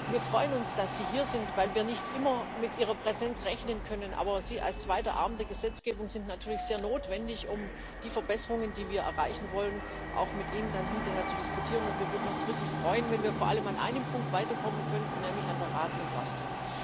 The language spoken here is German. Wir freuen uns, dass Sie hier sind, weil wir nicht immer mit Ihrer Präsenz rechnen können. Aber Sie als zweiter Arm der Gesetzgebung sind natürlich sehr notwendig, um die Verbesserungen, die wir erreichen wollen, auch mit Ihnen dann hinterher zu diskutieren. Wir würden uns wirklich freuen, wenn wir vor allem an einem Punkt weiterkommen könnten, nämlich bei der Ratsentlastung.